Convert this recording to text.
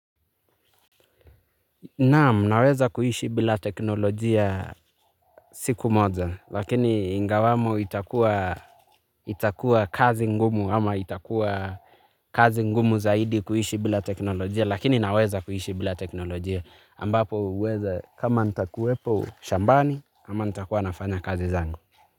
Naam, naweza kuishi bila teknolojia siku moja, lakini ingawamo itakuwa itakuwa kazi ngumu, ama itakuwa kazi ngumu zaidi kuishi bila teknolojia, lakini naweza kuishi bila teknolojia, ambapo eidha kama nitakuwepo shambani, ama nitakuwa nafanya kazi zangu.